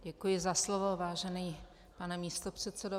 Děkuji za slovo, vážený pane místopředsedo.